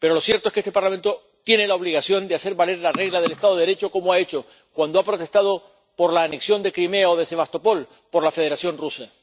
Pero lo cierto es que este Parlamento tiene la obligación de hacer valer la regla del Estado de Derecho, como ha hecho cuando ha protestado por la anexión de Crimea o de Sebastopol por la Federación Rusa.